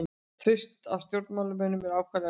Traust á stjórnmálamönnum er ákaflega lítið